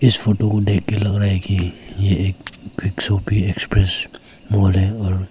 इस फोटो को देख के लग रहा है की ये एक क्विक शॉपी एक्सप्रेस बोर्ड है और--